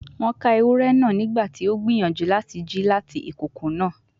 Won ka ewurẹ naa nigbati o n gbiyanju lati ji lati ikoko naa